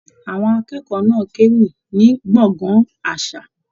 Àwọn akẹ́kọ̀ọ́ náà k'ewí ní gbọ̀ngán àṣà.